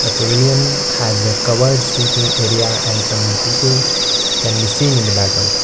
Pavilion has a covered seeking area and some people can be seen in the background.